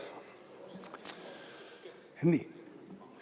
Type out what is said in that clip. Nii.